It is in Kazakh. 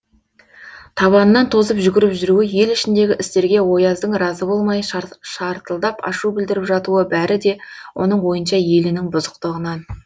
табанынан тозып жүгіріп жүруі ел ішіндегі істерге ояздың разы болмай шартылдап ашу білдіріп жатуы бәрі де оның ойынша елінің бұзықтығынан